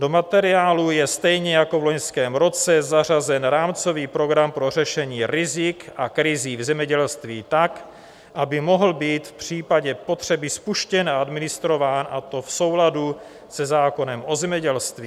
Do materiálu je stejně jako v loňském roce zařazen rámcový program pro řešení rizik a krizí v zemědělství tak, aby mohl být v případě potřeby spuštěn a administrován, a to v souladu se zákonem o zemědělství.